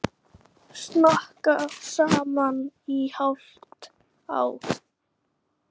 Snakka saman í hálft ár.